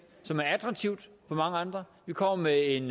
som er attraktiv for mange andre vi kommer med en